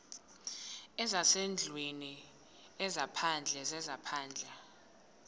zezasendlwini ezaphandle zezaphandle